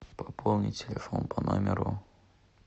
пополни телефон по номеру